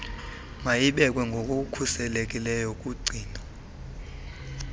mayibekwe ngokukhuselekileyo kugcino